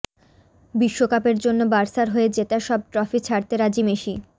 বিশ্বকাপের জন্য বার্সার হয়ে জেতা সব ট্রফি ছাড়তে রাজি মেসি